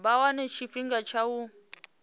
vha wane tshifhinga tsha u